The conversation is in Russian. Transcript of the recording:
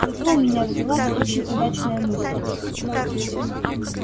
зато у меня родилась очень удачная мысль